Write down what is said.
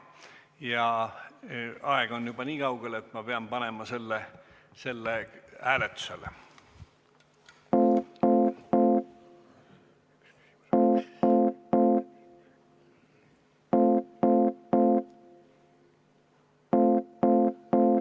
Ja aeg on juba nii kaugel, et ma pean panema selle hääletusele.